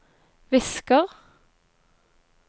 visker